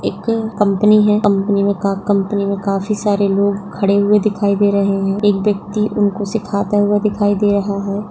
एक कंपनी है कंपनी में का कंपनी में काफी सारे लोग खड़े हुवे दिखाए दे रहे है एक वयक्ति उनको सिखाता हुवा दिखाई दे रहा है।